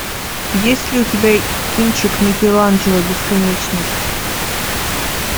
есть ли у тебя кинчик микеланджело бесконечность